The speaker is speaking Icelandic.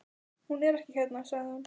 Hún er ekki hérna, sagði hún.